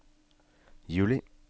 juli